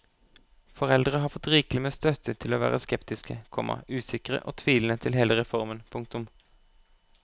Foreldre har fått rikelig med støtte til å være skeptiske, komma usikre og tvilende til hele reformen. punktum